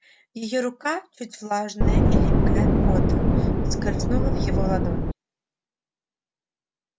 её рука чуть влажная и липкая от пота скользнула в его ладонь